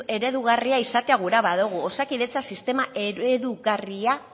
eredugarria izatea nahi badugu osakidetza sistema eredugarria